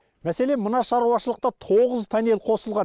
мәселен мына шаруашылықта тоғыз панель қосылған